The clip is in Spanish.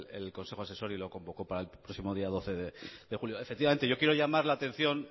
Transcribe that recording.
el consejo asesor y lo convocó para el próximo día doce de julio efectivamente yo quiero llamar la atención